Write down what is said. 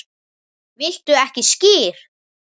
Viltu ekki skyr?